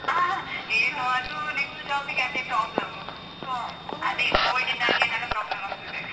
ಏನು ಅದು next job ಗೆ ಅದೇ problem . ಅದೇ covid ಯಿಂದಾಗಿ ಏನೆಲ್ಲ problem ಆಗ್ತದೆ.